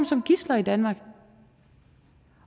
som gidsler i danmark